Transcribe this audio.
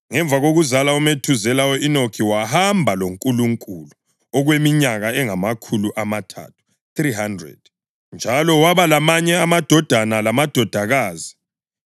Ngemva kokuzala uMethuzela, u-Enoki wahamba loNkulunkulu okweminyaka engamakhulu amathathu (300) njalo waba lamanye amadodana lamadodakazi.